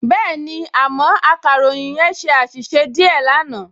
Bẹ́ẹ̀ni, àmọ́ akàròyìn yẹn ṣe àṣìṣe díẹ̀ náà